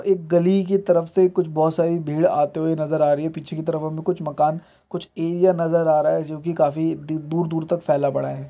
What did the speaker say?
एक गली की तरफ से कुछ बहुत सारी भीड़ आते हुए नज़र आ रही है पीछे की तरफ हमें कुछ मकान कुछ एरिया नज़र आ रहा है जो कि काफी द-दूर दूर तक फैला पड़ा है।